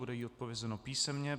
Bude jí odpovězeno písemně.